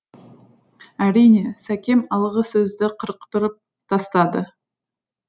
әрине сәкем алғысөзді қырықтырып тастады